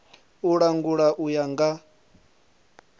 u langula u ya nga